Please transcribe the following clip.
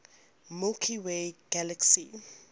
milky way galaxy